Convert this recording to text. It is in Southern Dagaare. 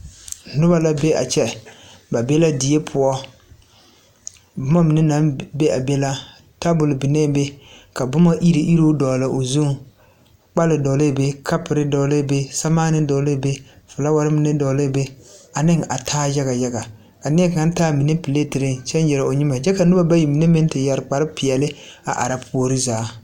Noba la be a kyɛ ba be la die poɔ boma mine naŋ be a be la tabol biŋee be ka boma iruŋ iruŋ dogle o zuŋ kpole doglɛɛ be a kapore doglɛɛ samaane doglɛɛ be filaaware mine doglɛɛ be ane a taa yaga yaga neɛ kaŋa taa a mine peleetereŋ kyɛ nyere o nyere o nyemɛ kyɛ ka noba bayi mine meŋ te yɛre kparre peɛne a are puori zaa.